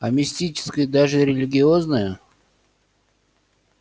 а мистическое даже религиозное